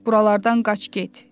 Buralardan qaç get.